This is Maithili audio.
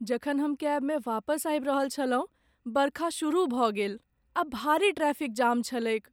जखन हम कैबमे वापस आबि रहल छलहुँ, बरखा शुरू भऽ गेल, आ भारी ट्रैफिक जाम छलैक ।